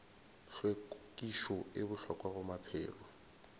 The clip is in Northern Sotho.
hlwekišo e bohlokwa go maphelo